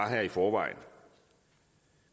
her i forvejen